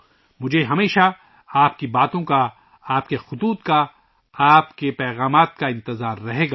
مجھے ہمیشہ آپ کے باتوں کا ، آپ کے خطوط کا ، آپ کے پیغامات انتظار رہے گا